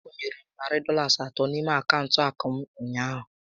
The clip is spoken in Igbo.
A kwunyere m narị Dọlas atọ n'ime akaụntụ akụ m ụnyaahụ